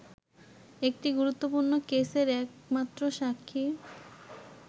একটি গুরুত্বপূর্ণ কেসের একমাত্র সাক্ষী